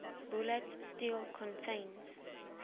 bulat steel contains